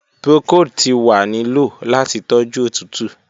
Procold ti wa ni lo lati toju otutu.